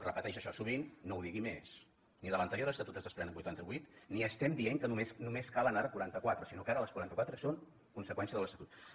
repeteix això sovint no ho digui més ni de l’anterior estatut se’n desprenen vuitanta vuit ni estem dient que només en calen ara quaranta quatre sinó que ara les quaranta quatre són conseqüència de l’estatut